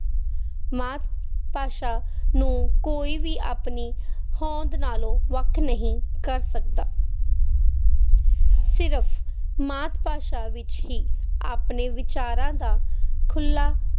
ਮਾਤ-ਭਾਸ਼ਾ ਨੂੰ ਕੋਈ ਵੀ ਆਪਣੀ ਹੋਂਦ ਨਾਲੋਂ ਵੱਖ ਨਹੀਂ ਕਰ ਸਕਦਾ ਸਿਰਫ ਮਾਤ-ਭਾਸ਼ਾ ਵਿੱਚ ਹੀ ਆਪਣੇ ਵਿਚਾਰਾਂ ਦਾ ਖੁੱਲਾ